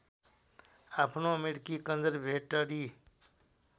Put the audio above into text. आफ्नो अमेरिकी कन्जरभेटरि